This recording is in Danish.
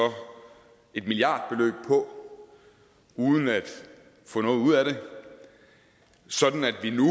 et milliardbeløb på uden at få noget ud af det sådan at vi nu